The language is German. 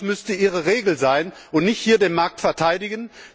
Das müsste Ihre Regel sein, und nicht hier den Markt zu verteidigen!